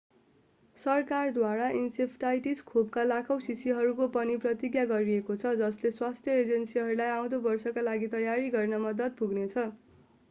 सरकारद्वारा इन्सेफ्लाइटिस खोपका लाखौं शीशीहरूको पनि प्रतिज्ञा गरिएको छ जसले स्वास्थ्य एजेन्सीहरूलाई आउँदो वर्षका लागि तयारी गर्न मद्दत पुग्नेछ